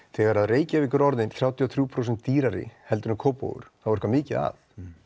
þegar Reykjavík er orðin þrjátíu og þrjú prósent dýrari en Kópavogur þá er eitthvað mikið að